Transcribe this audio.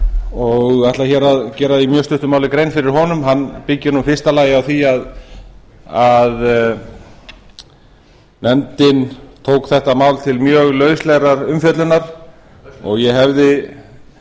og ætla hér að gera í mjög stuttu máli grein fyrir honum hann byggir í fyrsta lagi á því að nefndin tók þetta mál til mjög lauslegrar umfjöllunar og ég hefði